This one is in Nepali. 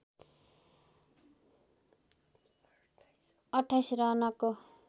२८ रनको